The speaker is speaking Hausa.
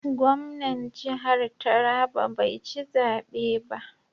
Gwamnan jihar Taraba bai ci zabe ba.